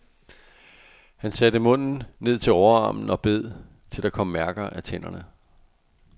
Han satte munden ned til overarmen og bed, til der kom mærker af tænderne.